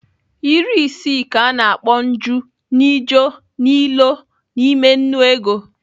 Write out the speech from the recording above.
Iri isii ka a na-akpọ nju nịjo nịlo n'ime nnu ego.